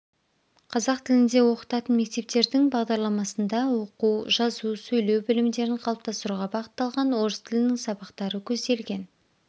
қазақ тілінде оқытатын мектептердің бағдарламасында оқу жазу сөйлеу білімдерін қалыптастыруға бағытталған орыс тілінің сабақтары көзделген